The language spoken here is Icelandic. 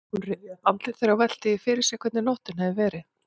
Hún rifjaði upp andlit þeirra og velti því fyrir sér hvernig nóttin hefði verið.